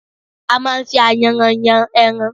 A máa ń fi ayanran yàn ẹran